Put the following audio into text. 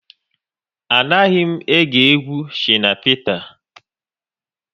A naghị m ege egwu Shina Peter